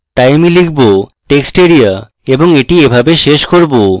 তাই আমি লিখব textarea এবং এটি এইভাবে শেষ করব